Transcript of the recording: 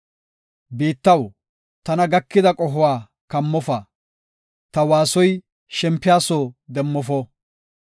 Biittaw, tana gakida qohuwa kammofa; ta waasoy shempiya soo demmofo.